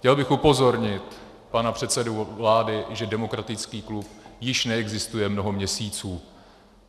Chtěl bych upozornit pana předsedu vlády, že demokratický klub již neexistuje mnoho měsíců.